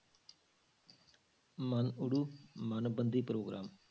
ਮਨਊੜੂ ਮਨਬੰਦੀ ਪ੍ਰੋਗਰਾਮ।